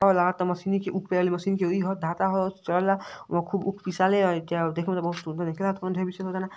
ऊँख पीसे वाली मशीन के ई ह धाता ह सहला वहाँ खूब ऊँख पिसाले अ च देखे में खूब त सुंदर नइखे लागत कौनों ढेर विशेष ओतना --